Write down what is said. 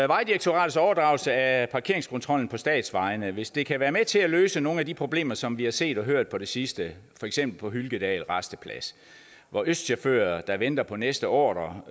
vejdirektoratets overdragelse af parkeringskontrollen på statsvejene at hvis det kan være med til at løse nogle af de problemer som vi har set og hørt om på det sidste for eksempel på hylkedal rasteplads hvor østchauffører der venter på næste ordre